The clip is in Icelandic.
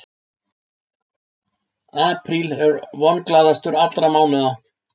Apríl er vonglaðastur allra mánaða.